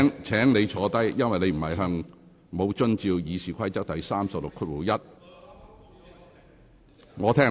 請你坐下，因為你沒有遵守《議事規則》第361條。